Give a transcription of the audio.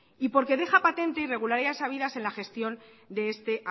y porque deja patente irregularidades habidas en la gestión de este